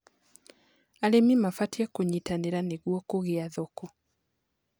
Arĩmĩ mabatĩe kũnyĩtanĩra nĩgũo kũgĩa thoko